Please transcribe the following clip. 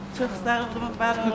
Çox sağ olun, var olun.